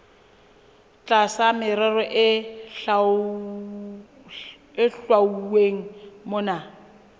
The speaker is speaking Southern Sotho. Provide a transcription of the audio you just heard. tlasa merero e hlwauweng mona